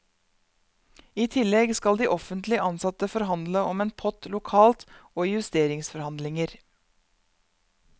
I tillegg skal de offentlig ansatte forhandle om en pott lokalt og i justeringsforhandlinger.